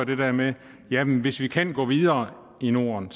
det der med at jamen hvis vi kan gå videre i norden